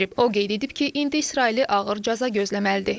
O qeyd edib ki, indi İsraili ağır cəza gözləməlidir.